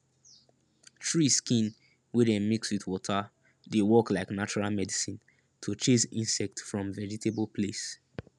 tree skin wey dem mix with water dey work like natural medicine to chase insect from vegetable place